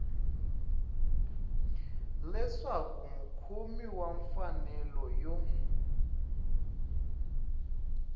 leswaku mukhomi wa mfanelo yo